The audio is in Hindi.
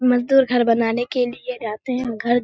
मजदूर घर बनाने के लिए रहते है घर --